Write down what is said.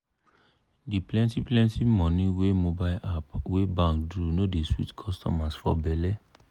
di plenty-plenty money wey mobile app wey bank do no dey sweet customers for belle.